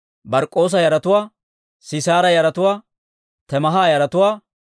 Bark'k'oosa yaratuwaa, Sisaara yaratuwaa, Temaaha yaratuwaa,